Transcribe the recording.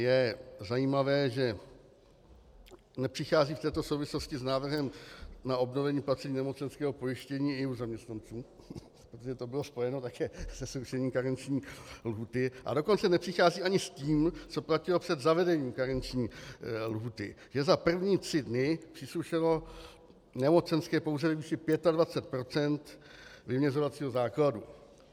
Je zajímavé, že nepřichází v této souvislosti s návrhem na obnovení placení nemocenského pojištění i u zaměstnanců, protože to bylo spojeno také se zrušením karenční lhůty, a dokonce nepřichází ani s tím, co platilo před zavedením karenční lhůty, že za první tři dny příslušelo nemocenské pouze ve výši 25 % vyměřovacího základu.